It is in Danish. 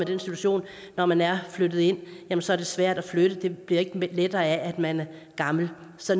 den situation når man er flyttet ind og så er det svært at flytte det bliver ikke lettere af at man er gammel så